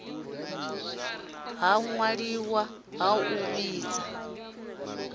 ha ṅwaliwa ha u vhidza